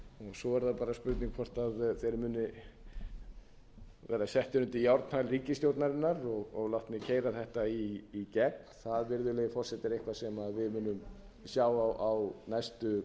svo er það bara spurning hvort þeir muni verða settir undir járnhæl ríkisstjórnarinnar og látnir keyra þetta í gegn það virðulegi forseti er eitthvað sem við munum sjá á næstu